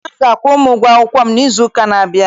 Nna m ga-akwụrụ m ụgwọ akwụkwọ m n'izu ụka na-abịa.